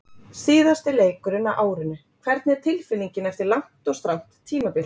Síðasti leikurinn á árinu, hvernig er tilfinningin eftir langt og strangt tímabil?